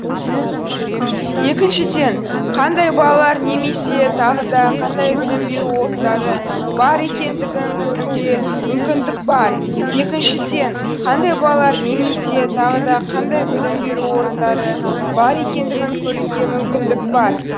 екіншіден қандай балалар немесе тағы да қандай білім беру орындары бар екендігін көруге мүмкіндік бар екіншіден қандай балалар немесе тағы да қандай білім беру орындары бар екендігін көруге мүмкіндік бар